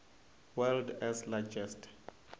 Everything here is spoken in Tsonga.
world s largest